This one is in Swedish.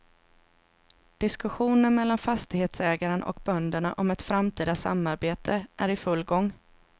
Diskussionen mellan fastighetsägaren och bönderna om ett framtida samarbete är i full gång.